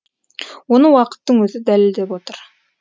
оны уақыттың өзі дәлелдеп отыр